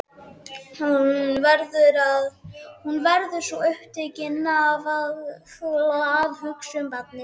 Hún verður svo upptekin af að hugsa um barnið.